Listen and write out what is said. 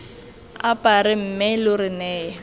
apare mme lo re neye